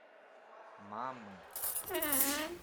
мамы